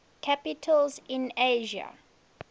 capitals in asia